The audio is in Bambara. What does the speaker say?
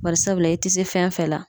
Barisabula i ti se fɛn fɛn la